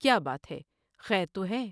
کیا بات ہے ۔خیر تو ہے ؟